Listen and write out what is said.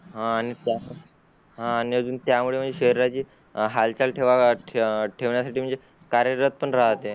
हां न हान आणि त्यामुळे शरीराची हालचाल ठेवाव्या ठेवण्या साठी म्हणजे कार्य रथ पण राहते